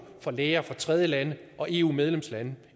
fra læger fra tredjelande og eu medlemslande